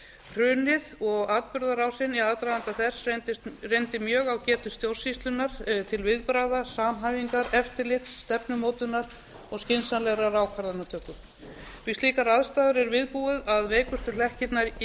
hrunið og atburðarásin í aðdraganda þess reyndi mjög á getu stjórnsýslunnar til viðbragða samhæfingar eftirlits stefnumótunar og skynsamlegrar ákvarðanatöku við slíkar aðstæður er viðbúið að veikustu hlekkirnir í